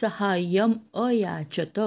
सहाय्यम् अयाचत